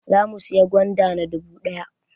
Zamu sayi gwanda na dubu ɗaya